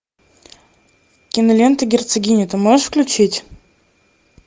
кинолента герцогиня ты можешь включить